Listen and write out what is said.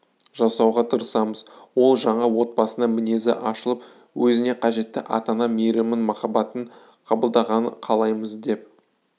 жасауға тырысамыз ол жаңа отбасында мінезі ашылып өзіне қажетті ата-ана мейірімін махаббатын қабылдағанын қалаймыз деп